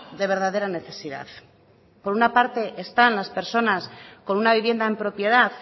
de verdadera necesidad por un parte están las personas con una vivienda en propiedad